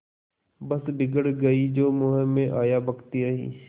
बस बिगड़ गयीं जो मुँह में आया बकती रहीं